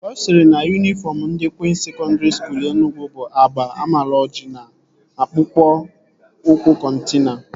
Ọ sịrị na yunifọm ndị Kwịns Sekọndri Skuul Enugwu bụ agba amaloji na akpụkpọ ụkwụ kọtina